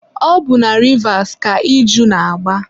ọ bụ na Rivas ka iju na-agba.